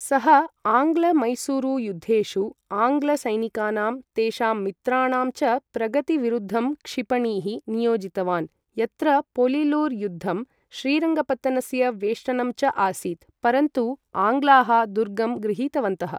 सः आङ्ग्ल मैसूरु युद्धेषु आङ्ग्ल सैनिकानाम्, तेषां मित्राणां च प्रगति विरुद्धं क्षिपणीः नियोजितवान्, यत्र पोलिलुर् युद्धं, श्रीरङ्गपत्तनस्य वेष्टनं च आसीत्, परन्तु आङ्ग्लाः दुर्गं गृहीतवन्तः।